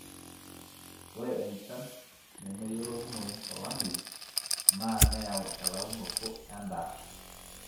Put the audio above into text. ore enchan nemeyiolounoyu to lameyu naa neyau elaunoto edaa